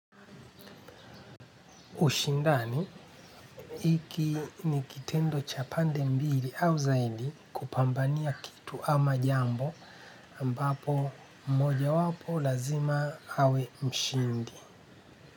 Ushindani, hiki ni kitendo cha pande mbili au zaidi kupambania kitu ama jambo ambapo mojawapo lazima awe mshindi.